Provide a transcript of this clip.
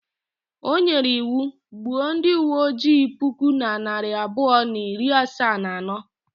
O nyere iwu, gbuo ndị uwe ojii puku na narị abụọ na iri asaa na anọ